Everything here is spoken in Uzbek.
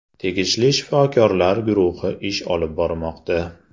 Tegishli shifokorlar guruhi ish olib bormoqda.